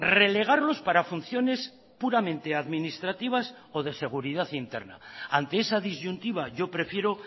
relegarlos para funciones puramente administrativas o de seguridad interna ante esa disyuntiva yo prefiero